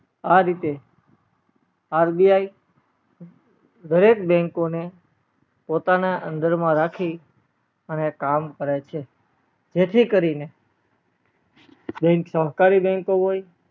આ રીતે RBI દરેક bank ઓ ને પોતા ના અંદર માં રાખી અને કામ કરે છે જેથી કરી ને bank સહકારી bank ઓ હોય